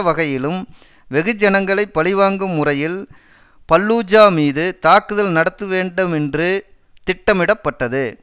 வகையிலும் வெகுஜனங்களை பழிவாங்கும் முறையில் பல்லூஜா மீது தாக்குதல் நடத்த வேண்டுமென்று திட்டமிடப்பட்டது